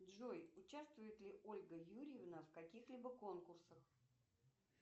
джой участвует ли ольга юрьевна в каких либо конкурсах